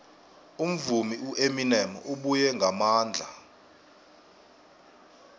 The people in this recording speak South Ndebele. umvumi ueminem ubuye ngamandla